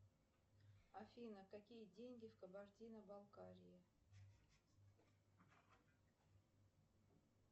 афина какие деньги в кабардино балкарии